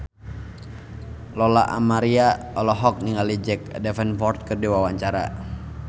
Lola Amaria olohok ningali Jack Davenport keur diwawancara